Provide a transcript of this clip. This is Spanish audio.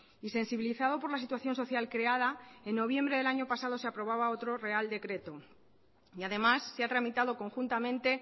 y sensibilizado por la situación social creada en noviembre del año pasado se aprobaba otro real decreto y además se ha tramitado conjuntamente